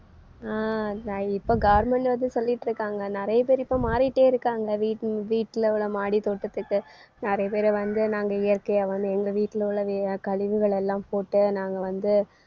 அஹ் நான் இப்ப government வந்து சொல்லிட்டிருக்காங்க நிறைய பேர் இப்போ மாறிட்டேயிருக்காங்க வீட்~ வீட்ல உள்ள மாடி தோட்டத்துக்கு நிறைய பேரை வந்து நாங்க இயற்கையா வந்து எங்க வீட்டுல உள்ள வே~ கழிவுகள் எல்லாம் போட்டு நாங்க வந்து